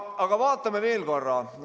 Aga vaatame veel korra.